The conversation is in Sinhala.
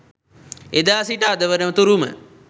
එදා සිට අද වන තුරුම